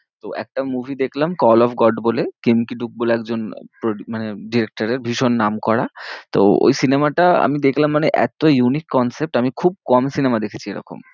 তো একটা movie দেখলাম কল অফ গড বলে, কিমতিডুক বলে একজন মানে directer এর ভীষণ নাম করা, তো ওই সিনেমাটা আমি দেখলাম মানে এত্ত unique concept আমি খুব কম সিনেমায় দেখেছি এরকম